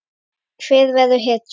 Hver verður hetjan?